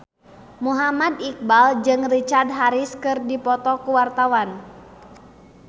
Muhammad Iqbal jeung Richard Harris keur dipoto ku wartawan